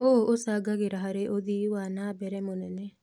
ũũ ũcangagĩra harĩ ũthi wa na mbere mũnene.